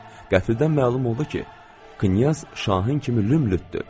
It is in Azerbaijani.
Qəfildən məlum oldu ki, knyaz şahin kimi lümdütdür.